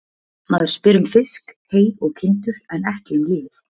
Maður spyr um fisk, hey og kindur en ekki um lífið.